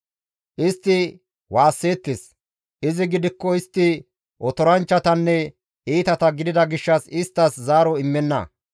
Istti waasseettes; izi gidikko istti otoranchchatanne iitata gidida gishshas isttas zaaro immenna.